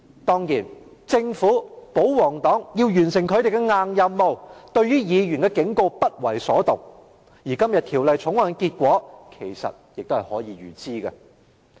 當然，政府及保皇黨要完成他們的"硬任務"，對議員的警告不為所動，而今天《條例草案》的結果其實可以預知。